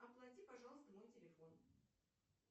оплати пожалуйста мой телефон